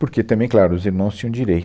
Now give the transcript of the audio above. Porque também, claro, os irmãos tinham